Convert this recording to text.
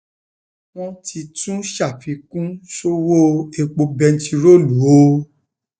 wọn ti tún um ṣàfikún sọwọ epo bẹntiróòlù o